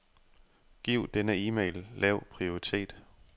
Giv denne e-mail lav prioritet.